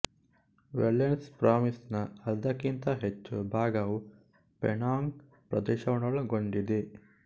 ವೆಲ್ಲೆಲ್ಸೆ province ನ ಅರ್ಧಕ್ಕಿಂತ ಹೆಚ್ಚು ಭಾಗವು ಪೆನಾಂಗ್ ಪ್ರದೇಶವನ್ನೊಳಗೊಂಡಿದೆ